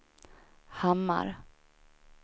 Hamar